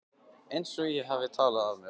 Einsog ég hafi talað af mér.